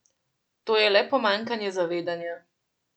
To je le pomanjkanje zavedanja.